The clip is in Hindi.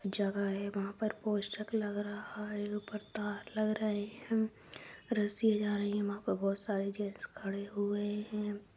जगह है वहा पर पोस्टर लग रहा है ऊपर तार लग रहे है रसिया जा रही है वहा पर बहुत सारे जेंट्स खड़े हुए है।